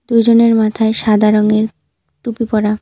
দুজনের মাথায় সাদা রঙের টুপি পরা।